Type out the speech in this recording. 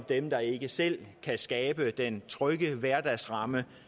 dem der ikke selv kan skabe den trygge hverdagsramme